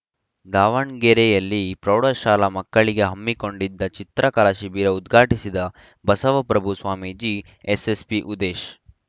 ದಾವಣಗೆರೆಯಲ್ಲಿ ಪ್ರೌಢಶಾಲಾ ಮಕ್ಕಳಿಗೆ ಹಮ್ಮಿಕೊಂಡಿದ್ದ ಚಿತ್ರಕಲಾ ಶಿಬಿರ ಉದ್ಘಾಟಿಸಿದ ಬಸವಪ್ರಭು ಸ್ವಾಮೀಜಿ ಎಎಸ್ಪಿ ಉದೇಶ್‌